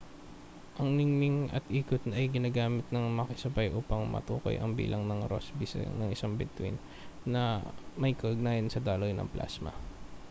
ang ningning at ikot ay ginagamit nang magkakasabay upang matukoy ang bilang na rosby ng isang bituin na may kaugnayan sa daloy ng plasma